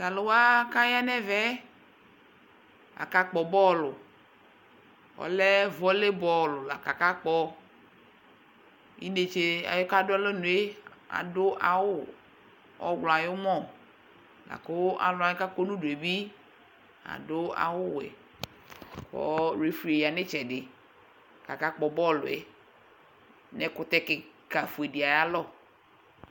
t'alòwa k'aya n'ɛvɛ aka kpɔ bɔl ɔlɛ vɔle bɔl la k'aka kpɔ inetse yɛ k'adu alɔnu yɛ adu awu ɔwlɔ ayi umɔ la kò alòwa k'akɔ no udu yɛ bi adu awu wɛ kò refri yɛ ya no itsɛdi k'aka kpɔ bɔl yɛ n'ɛkutɛ keka fue di ayi alɔ